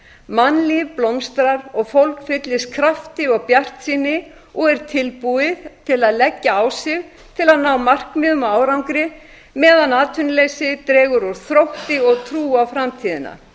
mannlíf blómstrar og fólk fyllist krafti og bjartsýni og er tilbúið til að leggja á sig til að ná markmiðum og árangri meðan atvinnuleysið dregur úr þrótti og trú á framtíðina